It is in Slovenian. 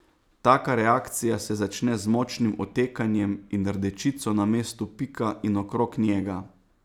Taka reakcija se začne z močnim otekanjem in rdečico na mestu pika in okrog njega.